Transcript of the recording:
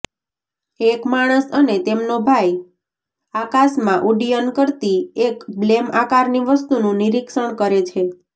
એક માણસ અને તેમનો ભાઈ આકાશમાં ઉડ્ડયન કરતી એક બ્લેમ આકારની વસ્તુનું નિરીક્ષણ કરે છે